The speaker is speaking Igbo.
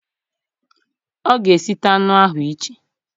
O ga esita anụ ahụ iche